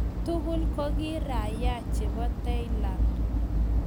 Tugul ko kii raiaa cheboo thailand